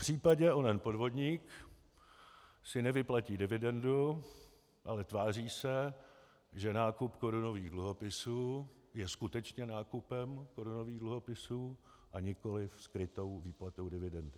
Popřípadě onen podvodník si nevyplatí dividendu, ale tváří se, že nákup korunových dluhopisů je skutečně nákupem korunových dluhopisů, a nikoliv skrytou výplatou dividendy.